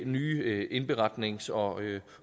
nye indberetnings og